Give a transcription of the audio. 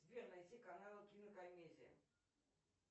сбер найти каналы кинокомедия